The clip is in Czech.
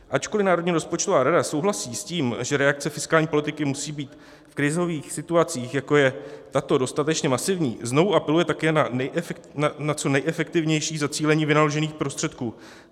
Ačkoli Národní rozpočtová rada souhlasí s tím, že reakce fiskální politiky musí být v krizových situacích, jako je tato, dostatečně masivní, znovu apeluje také na co nejefektivnější zacílení vynaložených prostředků.